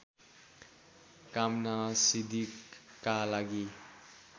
कामनासिद्धिका लागि